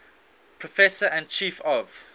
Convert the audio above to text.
professor and chief of